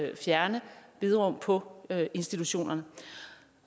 vil fjerne bederum på institutionerne